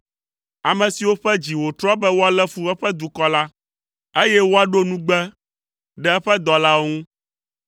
ame siwo ƒe dzi wòtrɔ be woalé fu eƒe dukɔ la, eye woaɖo nugbe ɖe eƒe dɔlawo ŋu.